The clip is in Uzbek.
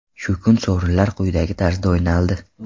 Shu kuni sovrinlar quyidagi tarzda o‘ynaldi.